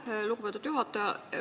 Aitäh, lugupeetud juhataja!